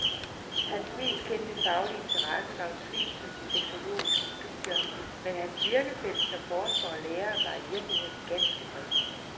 Hans mest kendte faglige interesse var utvivlsomt de sexologiske studier, men hans virkefelt som forsker og lærer var i virkeligheden ganske bredt.